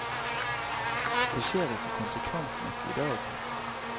Det skjer ikke konsekvent nok i dag.